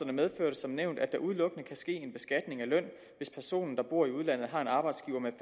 som nævnt at der udelukkende kan ske en beskatning af løn hvis personen der bor i udlandet har en arbejdsgiver med